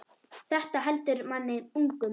Þetta heldur manni ungum.